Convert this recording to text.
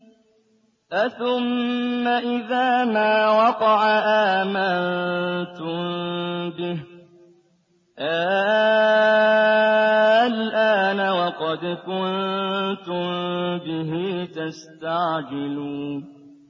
أَثُمَّ إِذَا مَا وَقَعَ آمَنتُم بِهِ ۚ آلْآنَ وَقَدْ كُنتُم بِهِ تَسْتَعْجِلُونَ